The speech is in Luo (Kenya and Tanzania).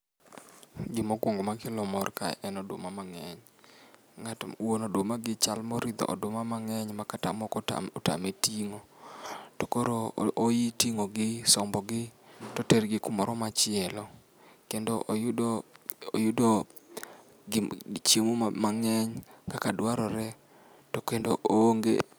Gima okuongo makelo mor kae en oduma mang'eny. Wuon odumani chal moridho oduma mang'eny makata moko otame ting'o. To koro oi ting'o gi, sombogi, to oter gi kamoro machielo. Kendo oyudo, oyudo chiemo mang'eny kaka dwarore to kendo oonge